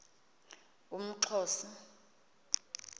umxhosa